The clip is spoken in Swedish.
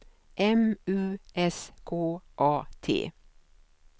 M U S K A T